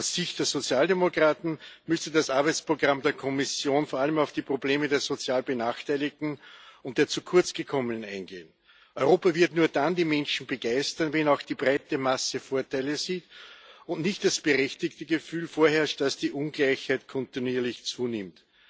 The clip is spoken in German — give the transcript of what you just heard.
Aus Sicht der Sozialdemokraten müsste das Arbeitsprogramm der Kommission vor allem auf die Probleme der sozial Benachteiligten und der Zukurzgekommenen eingehen. Europa wird nur dann die Menschen begeistern, wenn auch die breite Masse Vorteile sieht und nicht das berechtigte Gefühl vorherrscht, dass die Ungleichheit kontinuierlich zunimmt.